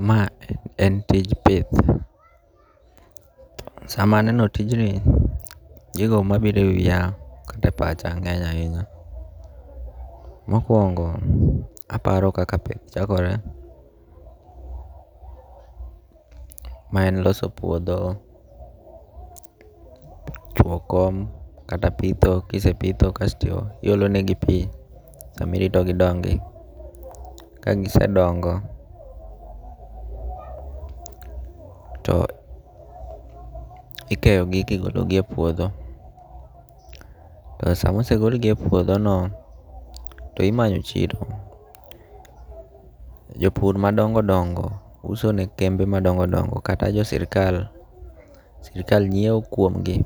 Ma en tij pith. Sama aneno tijni, gigo mabiro e wiya kaka pacha ngeny' ahinya. Mokwongo, aparo kaka pith chakore. Ma en loso puodho, chwo kom kata pitho. Kise pitho kasto iolonegi pi samirito gidongi. Kagisedongo, to ikeyo gi kigolo gi e puodho. To sama osegol gi e puodho no to imanyo chiro. Jopur madongo dongo uso ne kembe madongo dongo kata jo sirkal. Sirkal nyiew kuomgi.